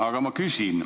Aga ma ka küsin.